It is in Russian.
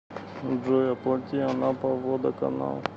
джой оплати анапа водоканал